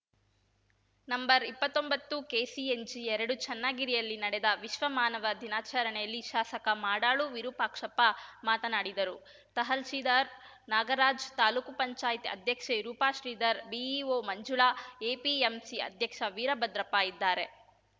ನಂಬರ್ಇಪ್ಪತ್ತೊಂಬತ್ತುಕೆಸಿಎನ್ಜಿಎರಡು ಚನ್ನಗಿರಿಯಲ್ಲಿ ನಡೆದ ವಿಶ್ವ ಮಾನವ ದಿನಾಚರಣೆಯಲ್ಲಿ ಶಾಸಕ ಮಾಡಾಳು ವಿರೂಪಾಕ್ಷಪ್ಪ ಮಾತನಾಡಿದರು ತಹಶೀಲ್ದಾರ್‌ ನಾಗರಾಜ್‌ ತಾಲೂಕು ಪಂಚಾಯತ್ ಅಧ್ಯಕ್ಷೆ ರೂಪಶ್ರೀಧರ್‌ ಬಿಇಓ ಮಂಜುಳಾ ಎಪಿಎಂಸಿ ಅಧ್ಯಕ್ಷ ವೀರಭದ್ರಪ್ಪ ಇದ್ದಾರೆ